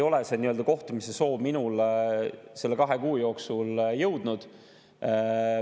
See kohtumise soov ei ole minuni selle kahe kuu jooksul jõudnud.